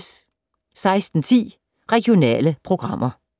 16:10: Regionale programmer